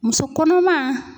Muso kɔnɔman